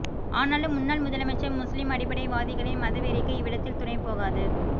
ஆனாலும் முன்னாள் முதலமைச்சர் முஸ்லிம் அடிப்படை வாதிகளின் மதவெறிக்கு இவ்விடத்தில் துணை போகாது